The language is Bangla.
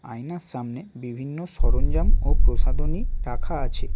আয়নার সামনে বিভিন্ন সরঞ্জাম ও প্রসাধনী রাখা আছে।